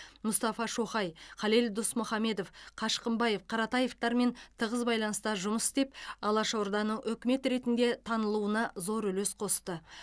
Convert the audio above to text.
мұстафа шоқай халел досмұхамедов қашқынбаев қаратаевтармен тығыз байланыста жұмыс істеп алашорданың үкімет ретінде танылуына зор үлес қосты